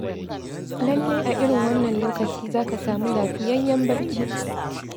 Lallai a irin wannan lokaci, za ka samu lafiyayyen barci.